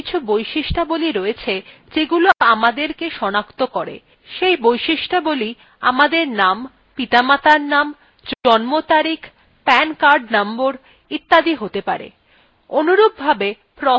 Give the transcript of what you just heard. আমাদের প্রত্যেকের কিছু বৈশিষ্ট্যাবলী রয়েছে যেগুলি আমাদেরকে সনাক্ত করে সেই বৈশিষ্ট্যাবলী আমাদের name পিতামাতার name জন্ম তারিখ pan card নম্বর ইত্যাদি হতে pan